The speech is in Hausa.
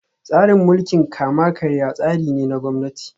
Tsarin mulkin kama karya tsari ne na Gwamnati